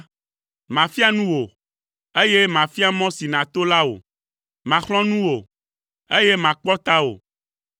Mafia nu wò, eye mafia mɔ si nàto la wò. Maxlɔ̃ nu wò, eye makpɔ tawò.